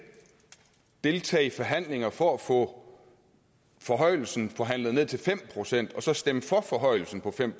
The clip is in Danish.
deltage i forhandlinger for at få forhøjelsen forhandlet ned til fem procent og så stemme for forhøjelsen på fem